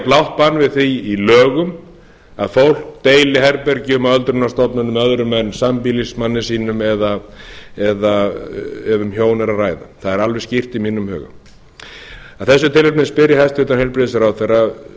blátt bann við því í lögum að fólk deili herbergjum á öldrunarstofnunum með öðrum en sambýlismanni sínum eða ef um hjón er að ræða það er alveg skýrt í mínum huga af þessu tilefni spyr ég hæstvirtan heilbrigðisráðherra